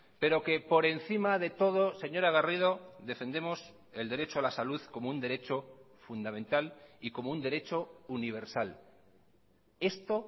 pero que por encima de todo señora garrido defendemos el derecho a la salud como un derecho fundamental y como un derecho universal esto